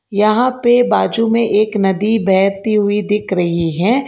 यहां पे बाजू में एक नदी बहती हुई दिख रही हैं।